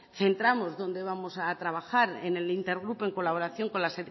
centramos donde vamos a trabajar en el intergrupo en colaboración con la